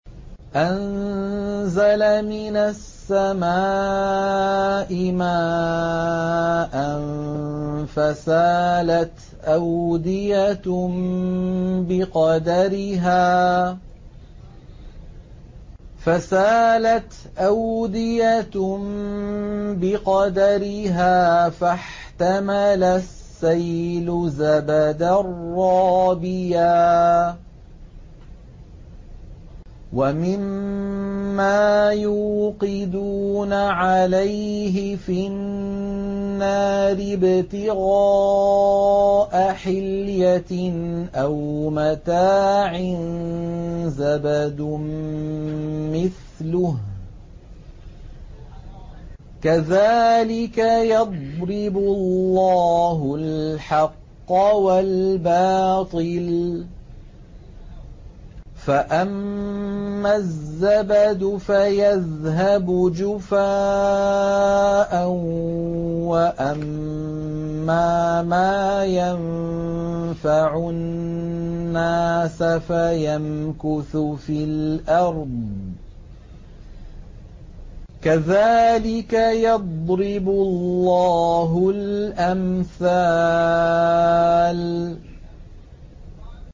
أَنزَلَ مِنَ السَّمَاءِ مَاءً فَسَالَتْ أَوْدِيَةٌ بِقَدَرِهَا فَاحْتَمَلَ السَّيْلُ زَبَدًا رَّابِيًا ۚ وَمِمَّا يُوقِدُونَ عَلَيْهِ فِي النَّارِ ابْتِغَاءَ حِلْيَةٍ أَوْ مَتَاعٍ زَبَدٌ مِّثْلُهُ ۚ كَذَٰلِكَ يَضْرِبُ اللَّهُ الْحَقَّ وَالْبَاطِلَ ۚ فَأَمَّا الزَّبَدُ فَيَذْهَبُ جُفَاءً ۖ وَأَمَّا مَا يَنفَعُ النَّاسَ فَيَمْكُثُ فِي الْأَرْضِ ۚ كَذَٰلِكَ يَضْرِبُ اللَّهُ الْأَمْثَالَ